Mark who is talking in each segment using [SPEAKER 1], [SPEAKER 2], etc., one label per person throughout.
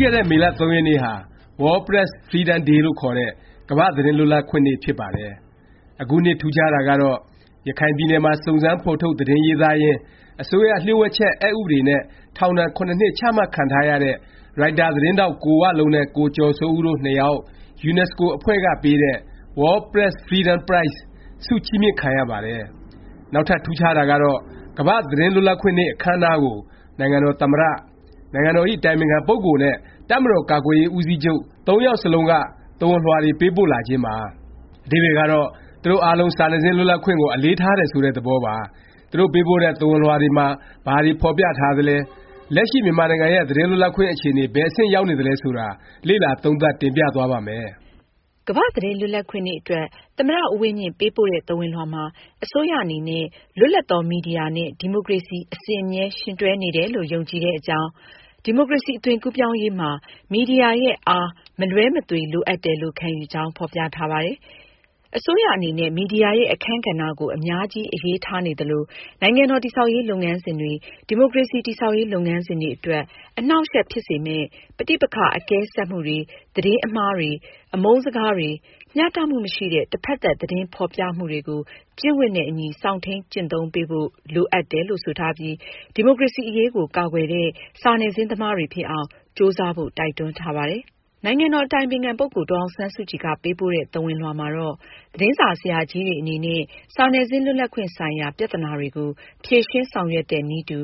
[SPEAKER 1] ခဲ့တဲ့ မေလ ၃ ရက်နေ့ဟာ World Press freedom day လို့ခေါ်တဲ့ ကမ္ဘာ့ သတင်းလွတ်လပ်ခွင့်နေ့ ဖြစ်ပါတယ်။ အခုနှစ် ထူးခြားတာကတော့ ရခိုင်ပြည်နယ်မှာ စုံစမ်း ဖော်ထုတ် သတင်းရေးသားရင်း အစိုးရ လျှို့ဝှက်ချက် အက်ဥပဒေ နဲ့ ထောင်ဒဏ် ၇ နှစ် ချမှတ်ခံထားရတဲ့ ရိုက်တာ သတင်းထောက် ကိုဝလုံးနဲ့ ကိုကျော်စိုးဦး တို့နှစ်ယောက် ယူနက်စကိုအဖွဲ့ကပေးတဲ့ World Press Freedom Prize ဆုချီးမြှင့်ခံရပါတယ်။ နောက်ထပ် ထူးခြားတာကတော့ ကမ္ဘာ့သတင်းလွတ်လပ်ခွင့်နေ့ အခန်းအနားကို နိုင်ငံတော်သမ္မတ၊ နိုင်ငံတော်ဇ။် အတိုင်ပင်ခံ ပုဂ္ဂိုလ် နဲ့ တပ်မတော် ကာကွယ်ရေး ဦးစီးချုပ် ၃ ယောက်စလုံးက သဝဏ်လွှာတွေ ပေးပို့လာခြင်းပါ။ အဓိပ္ပါယ်ကတော့ သူတို့ အားလုံး စာနယ်ဇင်း လွတ်လပ်ခွင့်ကို အလေးထားတယ် ဆိုတဲ့ သဘောပါ။ သူတို့ ပေးပို့တဲ့ သဝဏ်လွှာတွေမှာ ဘာတွေ ဖော်ပြထားသလဲ၊ လက်ရှိ မြန်မာနိုင်ငံရဲ့ သတင်းလွတ်လပ်ခွင့် အခြေအနေ ဘယ် အဆင့် ရောက်နေသလဲ ဆိုတာ လေ့လာ သုံးသပ် တင်ပြသွားပါ့မယ်
[SPEAKER 2] ။ ကမ္ဘာ့သတင်းလွတ်လပ်ခွင့် နေ့ အတွက် သမ္မတ ဦးဝင်းမြင့် ပေးပို့တဲ့ သဝဏ်လွှာမှာ အစိုးရ အနေနဲ့ လွတ်လပ်သော မီဒီယာနဲ့ ဒီမိုကရေစီ အစဉ်အမြဲ ယှဉ်တွဲနေတယ်လို့ ယုံကြည်တဲ့အကြောင်း၊ ဒီမိုကရေစီ အသွင်ကူးပြောင်းရေးမှာ မီဒီယာရဲ့ “ အား” မလွဲမသွေ လိုအပ်တယ်လို့ ခံယူကြောင်း ဖော်ပြထားပါတယ်။ အစိုးရ အနေနဲ့ မီဒီယာရဲ့ အခန်းကဏ္ဍကို အများကြီး အရေးထားနေသလို နိုင်ငံတော် တည်ဆောက်ရေး လုပ်ငန်းစဉ်တွေ၊ ဒီမိုကရေစီ တည်ဆောက်ရေး လုပ်ငန်းစဉ်တွေအတွက် အနှောင့်အယှက်ဖြစ်စေမယ့် ပဋိပက္ခ အကဲဆတ်မှုတွေ၊ သတင်းမှားတွေ၊ အမုန်းစကားတွေ၊ မျှတမှုမရှိတဲ့ တစ်ဖက်သတ် သတင်းဖော်ပြမှုတွေကို ကျင့်ဝတ်နဲ့အညီ စောင့်ထိန်း ကျင့်သုံးပေးဖို့ လိုအပ်တယ်လို့ ဆိုထားပြီး ဒီမိုကရေစီ အရေးကို ကာကွယ်တဲ့ စာနယ်ဇင်း သမားတွေဖြစ်အောင် ကြိုးစားဖို့ တိုက်တွန်းထားပါတယ်။ နိုင်ငံတော်ဇ။် အတိုင်ပင်ခံ ပုဂ္ဂိုလ် ဒေါ်အောင်ဆန်းစုကြည်က ပေးပို့တဲ့ သဝဏ်လွှာမှာတော့ သတင်းစာ ဆရာကြီးတွေ အနေနဲ့ စာနယ်ဇင်း လွတ်လပ်ခွင့်ဆိုင်ရာ ပြသနာတွေကို ဖြေရှင်း ဆောင်ရွက်တဲ့နည်းတူ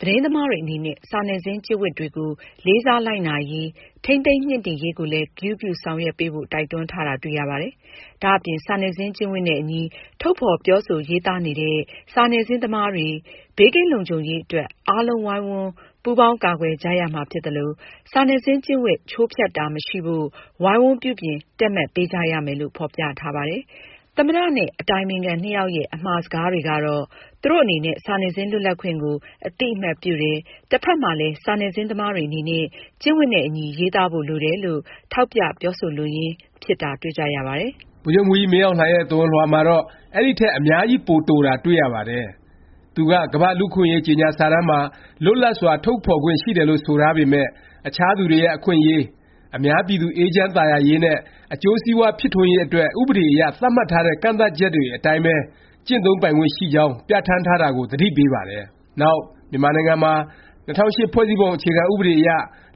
[SPEAKER 2] သတင်းသမားတွေ အနေနဲ့ စာနယ်ဇင်း ကျင့်ဝတ်တွေကို လေးစား လိုက်နာရေး၊ ထိန်းသိမ်းမြှင့်တင်ရေးကိုလည်း ဂရုပြု ဆောင်ရွက်ပေးဖို့ တိုက်တွန်းထားတာ တွေ့ရပါတယ်။ ဒါ့အပြင် စာနယ်ဇင်း ကျင့်ဝတ်နဲ့အညီ ထုတ်ဖော် ပြောဆို ရေးသားနေတဲ့ စာနယ်ဇင်းသမားတွေ ဘေးကင်းလုံခြုံရေး အတွက် အားလုံး ဝိုင်းဝန်း ပူးပေါင်း ကာကွယ်ကြရမှာ ဖြစ်သလို၊ စာနယ်ဇင်း ကျင့်ဝတ် ချိုးဖျက်တာ မရှိဖို့ ဝိုင်းဝန်း ပြုပြင် တည့်မတ်ပေးကြရမယ်လို့ ဖော်ပြထားပါတယ်။ သမ္မတ နဲ့ အတိုင်ပင်ခံ နှစ်ယောက်ရဲ့ အမှာစကားကတော့ သူတို့ အနေနဲ့ စာနယ်ဇင်း လွတ်လပ်ခွင့်ကို အသိအမှတ်ပြုတယ်၊ တဖက်မှာလည်း စာနယ်ဇင်း သမားတွေ အနေနဲ့ ကျင့်ဝတ်နဲ့အညီ ရေးသားဖို့ လိုတယ်လို့ ထောက်ပြ ပြောဆိုလိုရင်း ဖြစ်တာ တွေ့ကြရပါတယ်
[SPEAKER 1] ။ ဗိုလ်ချုပ်မှူးကြီး မင်းအောင်လှိုင်ရဲ့ သဝဏ်လွှာကတော့ အဲဒီထက် အများကြီး ပို တိုတာ တွေ့ရပါတယ်။ သူက ကမ္ဘာ့ လူ့အခွင့်အရေး ကြေငြာစာတမ်းမှာ လွတ်လပ်စွာ ထုတ်ဖော်ခွင့် ရှိတယ်လို့ ဆိုထားပေမယ့် အခြားသူတွေရဲ့ အခွင့်အရေး၊ အများပြည်သူ အေးချမ်းသာယာရေးနဲ့ အကျိုးစီးပွား ဖြစ်ထွန်းရေး အတွက် ဥပဒေအရ သတ်မှတ်ထားတဲ့ ကန့်သတ်ချက်တွေ အတိုင်းပဲ ကျင့်သုံးပိုင်ခွင့် ရှိကြောင်း ပြဌာန်းထားတာကို သတိပေးပါတယ်။ နောက် မြန်မာနိုင်ငံမှာ ၂၀၀၈ ဖွဲ့စည်းပုံ အခြေခံ ဥပဒေအရ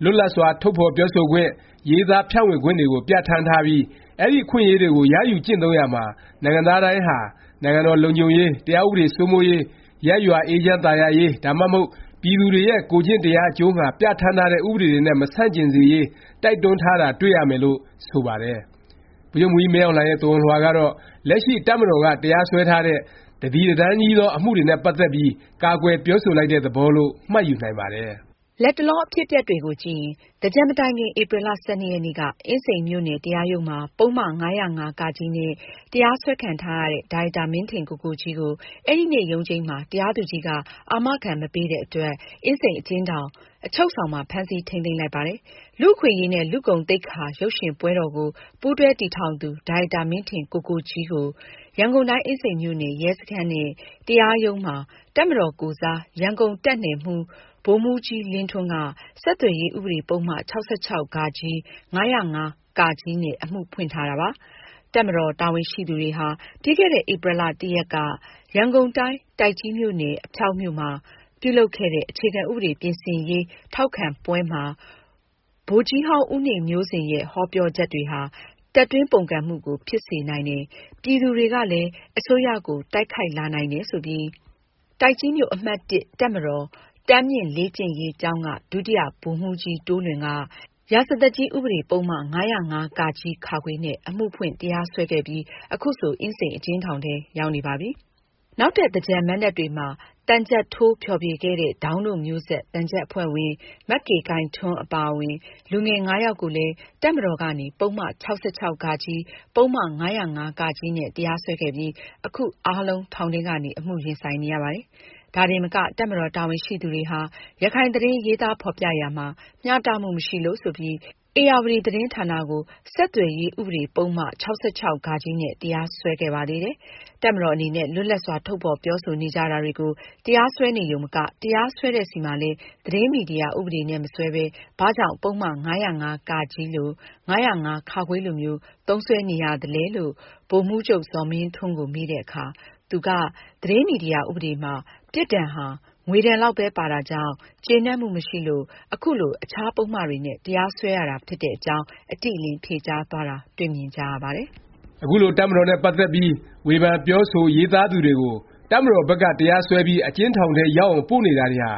[SPEAKER 1] လွတ်လပ်စွာ ထုတ်ဖော်ပြောဆိုခွင့်၊ ရေးသားဖြန့်ဝေခွင့်တွေကို ပြဌာန်းထားပြီး အဲဒီ အခွင့်အရေးကို ရယူကျင့်သုံးရာမှာ နိုင်ငံသားတိုင်းဟာ နိုင်ငံတော် လုံခြုံရေး၊ တရားဥပဒေ စိုးမိုးရေး၊ ရပ်ရွာ အေးချမ်းသာယာရေး ဒါမှမဟုတ် ပြည်သူတွေရဲ့ ကိုယ်ကျင့်တရား အကျိုးငှာ ပြဌာန်းထားတဲ့ ဥပဒေတွေနဲ့ မဆန့်ကျင်စေရေး တိုက်တွန်းထားတာ တွေ့ရမယ်လို့ ဆိုပါတယ်။ ဗိုလ်ချုပ်မှူးကြီး မင်းအောင်လှိုင်ရဲ့ သဝဏ်လွှာကတော့ လက်ရှိ တပ်မတော်က တရားစွဲထားတဲ့ တသီတတန်းကြီးသော အမှုတွေနဲ့ ပတ်သက်ပြီး ကာကွယ်ပြောဆိုလိုက်တဲ့ သဘောလို့ မှတ်ယူနိုင်ပါတယ်။
[SPEAKER 2] လတ်တလော အဖြစ်အပျက်တွေကို ကြည့်ရင် သင်္ကြန်မတိုင်ခင် ဧပြီလ ၁၂ ရက်နေ့က အင်းစိန်မြို့နယ် တရားရုံးမှာ ပုဒ်မ ၅၀၅ နဲ့ တရားစွဲခံထားရတဲ့ ဒါရိုက်တာ မင်းထင်ကိုကိုကြီးကို အဲဒီနေ့ ရုံးချိန်းမှာ တရားသူကြီးက အာမခံ မပေးတဲ့အတွက် အင်းစိန် အကျဉ်းထောင်၊ အချုပ်ဆောင်မှာ ဖမ်းဆီး ထိမ်းသိမ်းလိုက်ပါတယ်။ လူ့အခွင့်အရေးနဲ့ လူ့ဂုဏ်သိက္ခာ ရုပ်ရှင်ပွဲတော်ကို ပူးတွဲ တည်ထောင်သူ ဒါရိုက်တာ မင်းထင်ကိုကိုကြီးကို ရန်ကုန်တိုင်း အင်းစိန်မြို့နယ် ရဲစခန်းနဲ့ တရားရုံး မှာ တပ်မတော်ကိုယ်စား ရန်ကုန်တပ်နယ်မှူး ဗိုလ်မှူးကြီးလင်းထွန်းက ဆက်သွယ်ရေး ဥပဒေ ပုဒ်မ ၆၆ ၊ ၅၀၅ နဲ့ အမှုဖွင့်ထားတာ ဖြစ်ပါတယ်။ တပ်မတော် တာဝန်ရှိသူတွေဟာ ပြီးခဲ့တဲ့ ဧပြီ ရက်က ရန်ကုန်တိုင်း၊ တိုက်ကြီးမြို့နယ်၊ အဖျောက်မြို့မှာ ပြုလုပ်ခဲ့တဲ့ အခြေခံဥပဒေပြင်ဆင်ရေးထောက်ခံပွဲမှာ ဗိုလ်ကြီးဟောင်း ဦးနေမျိုးဇင်ရဲ့ ဟောပြောချက် တွေဟာ တပ်တွင်းပုန်ကန်မှုကို ဖြစ်စေနိုင်တယ်၊ ပြည်သူတွေကလည်း အစိုးရကို တိုက်ခိုက်လာနိုင်တယ် ဆိုပြီး တိုက်ကြီးမြို့ အမှတ် တပ်မတော် တန်းမြင့်လေ့ကျင့်ရေးကျောင်းက ဒုတိယဗိုလ်မှူးကြီး တိုးလွင်က ရာဇသတ်ကြီး ဥပဒေပုဒ်မ ၅၀၅ နဲ့ အမှုဖွင့် တရားစွဲခဲ့ပြီး ခုဆို အင်းစိန် အကျဉ်းထောင်ထဲ ရောက်နေပါပြီ။ နောက်ထပ် သင်္ကြန်မဏ္ဍပ်တွေမှာ သံချပ်ထိုး ဖျော်ဖြေ ခဲ့တဲ့ ဒေါင်းတို့မျိုးဆက် သံချပ်အဖွဲ့ဝင် မကေခိုင်ထွန်းအပါအဝင် လူငယ် ၅ ယောက်ကိုလဲ တပ်မတော်ကနေ ပုဒ်မ ၆၆ ၊ ပုဒ်မ ၅၀၅ နဲ့ တရားစွဲခဲ့ပြီး အခု အားလုံး ထောင်ထဲကနေ အမှုရင်ဆိုင်နေရပါတယ်။ ဒါတင်မက တပ်မတော် တာဝန်ရှိသူတွေဟာ ရခိုင်သတင်း ရေးသားဖော်ပြရာမှာ မျှတမှု မရှိလို့ ဆိုပြီး ဧရာဝတီ သတင်းဌာနကို ဆက်သွယ်ရေး ဥပဒေ ပုဒ်မ ၆၆ နဲ့ တရားစွဲခဲ့ပါသေးတယ်။ တပ်မတော် အနေနဲ့ လွတ်လပ်စွာ ထုတ်ဖော် ပြောဆိုနေကြတာတွေကို တရားစွဲနေရုံမက၊ တရားစွဲတဲ့ဆီမှာလည်း သတင်းမီဒီယာ ဥပဒေနဲ့ မစွဲပဲ ဘာကြောင့် ပုဒ်မ ၅၀၅ လို၊ ၅၀၅ လိုမျိုး သုံးစွဲနေရသလဲ ဗိုလ်မှူးချုပ် ဇော်မင်းထွန်းကို မေးတဲ့အခါ သူက သတင်းမီဒီယာ ဥပဒေမှာ ပြစ်ဒဏ်ဟာ ငွေဒဏ်လောက်ပဲ ပါတာကြောင့် ကျေနပ်မှု မရှိလို့ ခုလို အခြား ပုဒ်မတွေနဲ့ တရားစွဲရတာ ဖြစ်တဲ့အကြောင်း အတိအလင်း ဖြေကြားသွားတာ တွေ့မြင်ကြရပါတယ်
[SPEAKER 1] ။ အခုလို တပ်မတော်နဲ့ ပတ်သက်ပြီး ဝေဖန်၊ ပြောဆို၊ ရေးသားသူတွေကို တပ်မတော်ဘက်က တရားစွဲပြီး အကျဉ်းထောင်ထဲ ရောက်အောင် ပို့နေတာတွေဟာ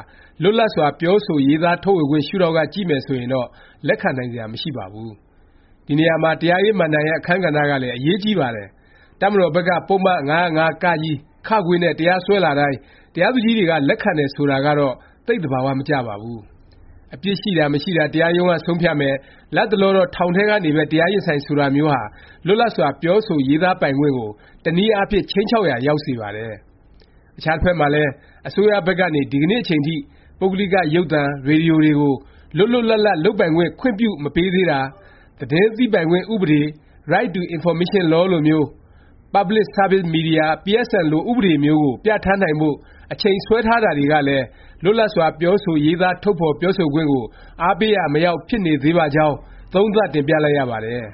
[SPEAKER 1] လွတ်လပ်စွာ ပြောဆို ရေးသားထုတ်ဖော်ခွင့် ရှုဒေါင့်က ကြည့်မယ် ဆိုရင်တော့ လက်ခံနိုင်စရာ မရှိပါဘူး။ ဒီနေရာမှာ တရားရေးမဏ္ဍိုင်ရဲ့ အခန်းကဏ္ဍကလည်း အရေးကြီးပါတယ်။ တပ်မတော်ဘက်က ပုဒ်မ ၅၀၅ နဲ့ တရားစွဲလာတိုင်း တရားသူကြီးတွေက လက်ခံတယ် ဆိုတာကတော့ သိပ် သဘာ၀ မကျပါဘူး။ အပြစ်ရှိတာ မရှိတာ တရားရုံးက ဆုံးဖြတ်မယ်၊ လတ်တလောတော့ ထောင်ထဲကနေပဲ တရားရင်ဆိုင် ဆိုတာမျိုးဟာ လွတ်လပ်စွာ ပြောဆို ရေးသားပိုင်ခွင့်ကို တစ်နည်းအားဖြင့် ခြိမ်းခြောက်ရာ ရောက်စေပါတယ်။ အခြားတစ်ဖက်မှာလည်း အစိုးရဘက်ကနေ ဒီကနေ့ အချိန်ထိ ပုဂ္ဂလိက ရုပ်သံ၊ ရေဒီယို တွေကို လွတ်လွတ်လပ်လပ် လုပ်ပိုင်ခွင့် ခွင့်ပြုမပေးသေးတာ၊ သတင်းသိပိုင်ခွင့် ဥပဒေ Right to information law လိုမျိုး၊ Public services Media, PSM လို ဥပဒေမျိုးကို ပြဌာန်းနိုင်ဖို့ အချိန်ဆွဲထားတာတွေကလည်း လွတ်လပ်စွာ ပြောဆို ရေးသား ထုတ်ဖော် ပြောဆိုခွင့်ကို အားပေးရာ မရောက် ဖြစ်နေသေးပါကြောင်း သုံးသပ် တင်ပြလိုက်ရပါတယ်။